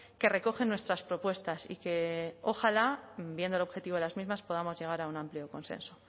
que recogen nuestras propuestas y que ojalá viendo el objetivo de las mismas podamos llegar a un amplio consenso